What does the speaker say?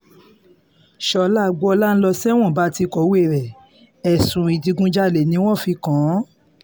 ṣọ́lá agboola ń lọ sẹ́wọ̀n bá a ti kọ̀wé rẹ̀ ẹ̀sùn ìdígunjalè ni wọ́n fi kàn án